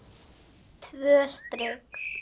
Hún merkir einnig?